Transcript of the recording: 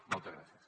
moltes gràcies